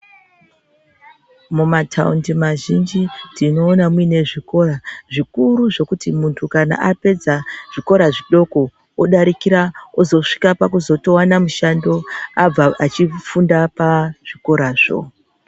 Mumataundi mazhinji tinoona muine zvikora zvikuru zvekuti kana muntu apedza zvikora zvidoko, odarikira ozosvika pakutozovana mushando abva achifunda pazvikorazvo.